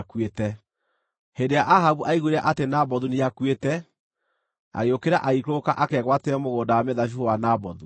Hĩndĩ ĩrĩa Ahabu aiguire atĩ Nabothu nĩakuĩte, agĩũkĩra, agĩikũrũka akegwatĩre mũgũnda wa mĩthabibũ wa Nabothu.